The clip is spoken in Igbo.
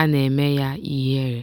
a na-eme ya ihere.